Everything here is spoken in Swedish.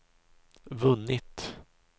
vunnit